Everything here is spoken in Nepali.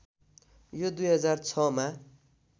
यो २००६ मा